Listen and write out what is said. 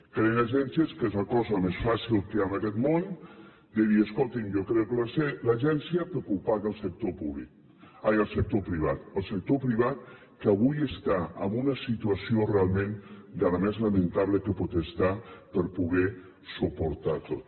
creen agències que és la cosa més fàcil que hi ha en aquest món de dir escoltin jo creo l’agència perquè ho paga el sector privat el sector privat que avui està en una situació realment de la més lamentable que pot estar per poderho suportar tot